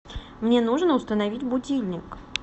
мне нужно установить будильник